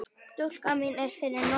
Stúlkan mín er fyrir norðan.